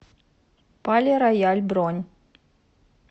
пале рояль бронь